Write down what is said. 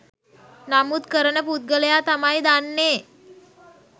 නමුත් කරන පුද්ගලයා තමයි දන්නේ